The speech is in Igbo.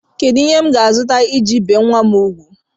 Kedụ ihe m ga-azụta e ji ebi nwa m ugwu?